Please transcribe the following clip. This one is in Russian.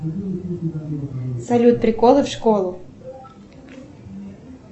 салют приколы в школу